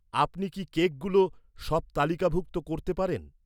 আপনি কী কেকগুলো সব তালিকাভুক্ত করতে পারেন?